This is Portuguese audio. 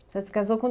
Você se casou com